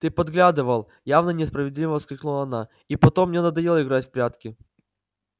ты подглядывал явно несправедливо воскликнула она и потом мне надоело играть в прятки